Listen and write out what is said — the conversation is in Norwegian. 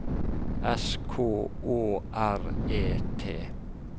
S K Å R E T